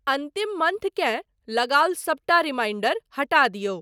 अन्तिम मंथ केँ लगाओल सबटा रिमाइंडर हटा दिऔ।